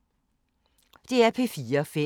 DR P4 Fælles